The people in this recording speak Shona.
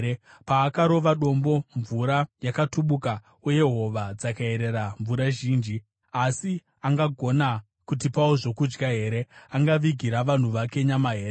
Paakarova dombo, mvura yakatubuka, uye hova dzakayerera mvura zhinji. Asi angagona kutipawo zvokudya here? Angavigira vanhu vake nyama here?”